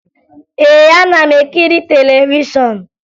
Ee, ana m ekiri televishọn